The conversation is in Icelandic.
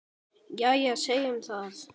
Jæja, segjum það.